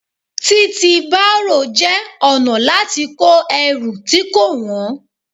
Títi bárò jẹ́ ọ̀nà láti kó ẹrù tí kò wọ̀n.